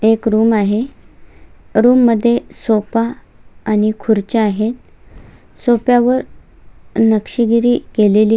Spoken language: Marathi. एक रूम आहे रूम मध्ये एक सोफा आणि खुर्च्या आहेत सोफ्या वर नक्षीगिरी केलेली --